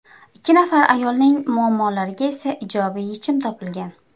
Ikki nafar ayolning muammolariga esa ijobiy yechim topilgan.